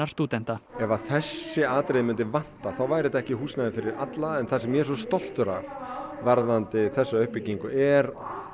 stúdenta ef að þessi atriði myndi vanta þá væri þetta ekki húsnæði fyrir alla en það sem ég er svo stoltur af varðandi þessa uppbyggingu er